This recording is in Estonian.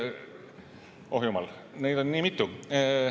Oh jumal, neid on nii mitu.